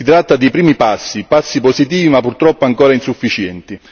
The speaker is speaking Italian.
Si tratta di primi passi, passi positivi ma purtroppo ancora insufficienti.